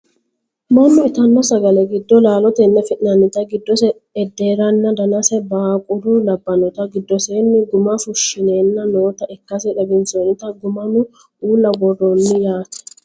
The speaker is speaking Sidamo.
mannu itanno sagale giddo laalotenni afi'nanniti giddos edarreenna danase baaqula labbannoti giddosenni gumma fushshineenna noota ikkase xawissannote gummano uulla worrroonni yaate